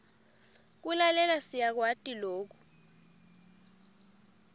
kulalela siyakwati loku